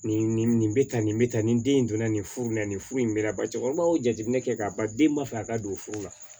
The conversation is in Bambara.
Nin nin nin bɛ tan nin bɛ tan nin den in don na nin furu la nin furu in bɛ na ba cɛkɔrɔbaw jateminɛ kɛ k'a ban den b'a fɛ a ka don furu la